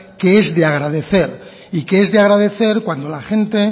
que es de agradecer y que es de agradecer cuando la gente